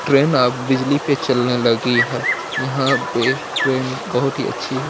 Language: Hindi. ट्रेन अब बिजली पे चलने लगी है। यहां पे ट्रेन बहोत ही अच्छी है।